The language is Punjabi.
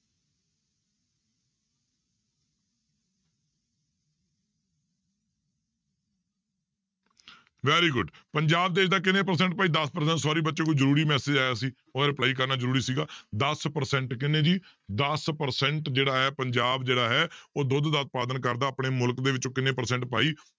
Very good ਪੰਜਾਬ ਦੇਸ ਦਾ ਕਿੰਨੇ percent ਭਾਈ ਦਸ percent sorry ਬਚਿਓ ਕੋਈ ਜ਼ਰੂਰੀ message ਆਇਆ ਸੀ ਉਹਦਾ reply ਕਰਨਾ ਜ਼ਰੂਰੀ ਸੀਗਾ, ਦਸ percent ਕਿੰਨੇ ਜੀ ਦਸ percent ਜਿਹੜਾ ਹੈ ਪੰਜਾਬ ਜਿਹੜਾ ਹੈ ਉਹ ਦੁੱਧ ਦਾ ਉਤਪਾਦਨ ਕਰਦਾ ਆਪਣੇ ਮੁਲਕ ਦੇ ਵਿੱਚੋਂ ਕਿੰਨੇ percent ਭਾਈ